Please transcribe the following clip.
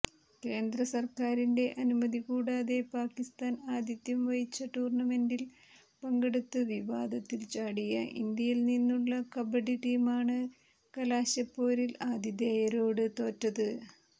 കേന്ദ്രസർക്കാരിന്റെ അനുമതി കൂടാതെ പാക്കിസ്ഥാൻ ആതിഥ്യം വഹിച്ച ടൂർണമെന്റിൽ പങ്കെടുത്ത് വിവാദത്തിൽച്ചാടിയ ഇന്ത്യയിൽനിന്നുള്ള കബഡി ടീമാണ് കലാശപ്പോരിൽ ആതിഥേയരോട് തോറ്റത്